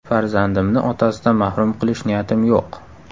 Farzandimni otasidan mahrum qilish niyatim yo‘q.